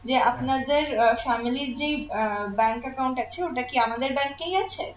যে আপনাদের আহ family র যেই আহ bank account আছে ওটা কি আমাদের bank এই আছে